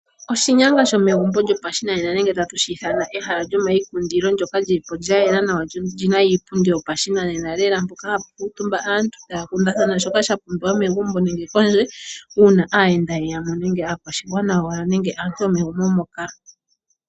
Oshinyanga shomegumpo lyopashinane nenge tutye tatu shi ithana ehala lyomaikundilo ndyoka lyilipo lya yela nawa lyo olyina iipundi yopashinanena lela mpoka hapu kuutumba aantu taya kundathana shoka sha pumbiwa megumbo nenge kondje uuna aayenda ye yamo nenge aakwashigwana yowala nenge aantu yomegumbo moka.